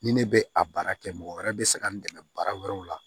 Ni ne bɛ a baara kɛ mɔgɔ wɛrɛ bɛ se ka n dɛmɛ baara wɛrɛw la